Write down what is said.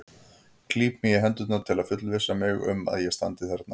Klíp mig í hendurnar til að fullvissa mig um að ég standi þarna.